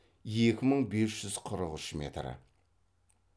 екі мың бес жүз қырық үш метр